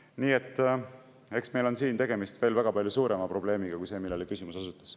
Nii et eks meil on siin tegemist veel väga palju suurema probleemiga kui see, millele küsimus osutas.